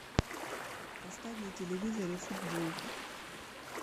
поставь на телевизоре футбол